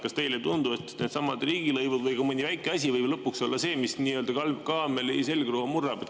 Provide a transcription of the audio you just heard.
Kas teile ei tundu, et needsamad riigilõivud või ka mõni väike asi võib lõpuks olla see, mis nii-öelda kaameli selgroo murrab?